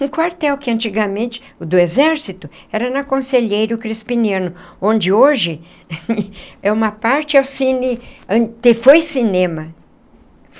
Um quartel que antigamente, o do exército, era na Conselheiro Crispiniano, onde hoje é uma parte é o cine... foi cinema.